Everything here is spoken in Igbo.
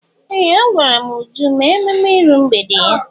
Ee! Agwara m Uju mee ememme iru mgbede ya.